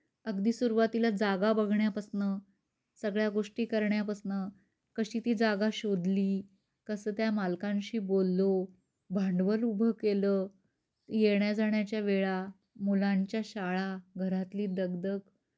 अगदी सुरुवातीला जागा बघण्यापासन सगळ्या गोष्टी करण्यापासन कशी ती जागा शोधली, कस त्या मालकांशी बोललो, भांडवल उभ केल, येण्या जाण्याच्या वेळा, मुलांच्या शाळा, घरातली दगदग.